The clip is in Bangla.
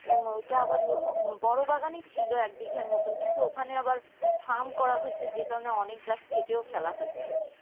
হুম ওটা আবার বড়ও বাগানে ছিল এক বিঘার মত কিন্তু ওখানে আবার farm করা হয়েছে, যে কারণে গাছ কেটেও ফেলা হয়েছে